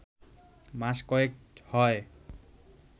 মাস কয়েক হয়